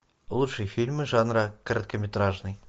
лучшие фильмы жанра короткометражный